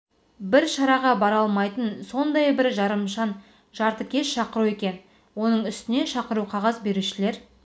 бір шараға бара алмайтын сондай бір жарымжан жартыкеш шақыру екен оның үстіне шақыру қағаз берушілер